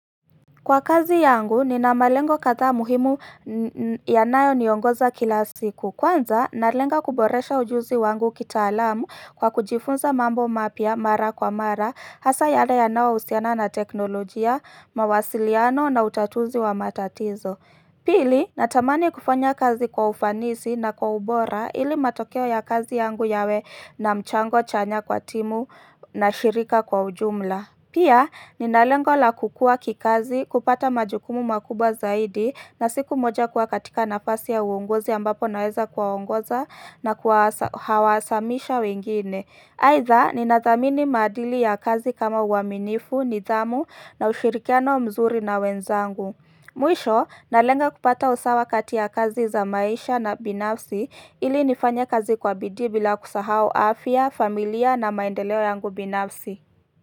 Kwa kazi yangu, nina malengo kadhaa muhimu yanayo niongoza kila siku. Kwanza, nalenga kuboresha ujuzi wangu kitaalamu kwa kujifunza mambo mapya mara kwa mara, hasa yale yanayohusiana na teknolojia, mawasiliano na utatuzi wa matatizo. Pili, natamani kufanya kazi kwa ufanisi na kwa ubora ili matokeo ya kazi yangu yawe na mchango chanya kwa timu na shirika kwa ujumla. Pia, nina lengo la kukua kikazi, kupata majukumu makubwa zaidi na siku moja kuwa katika nafasi ya uongozi ambapo naweza kuwaongoza na kuwahamasisha wengine. Aidha, ninathamini maadili ya kazi kama uaminifu, nidhamu na ushirikiano mzuri na wenzangu. Mwisho, nalenga kupata usawa kati ya kazi za maisha na binafsi ili nifanye kazi kwa bidii bila kusahau afya, familia na maendeleo yangu binafsi.